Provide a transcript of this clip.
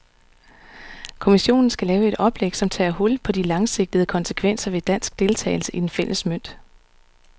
Kommissionen skal lave et oplæg, som tager hul på de langsigtede konsekvenser ved dansk deltagelse i den fælles mønt.